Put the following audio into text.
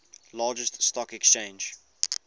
largest stock exchange